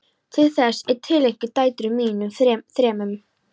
Þessi bók er tileinkuð dætrum mínum þremur.